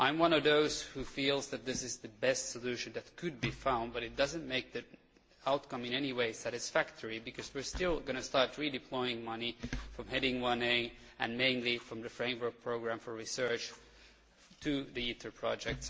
I am one of those who feel that this is the best solution that could be found, but it does not make the outcome in any way satisfactory, because we are still going to start redeploying money from Heading 1a, and mainly from the framework programme for research to the ITER project.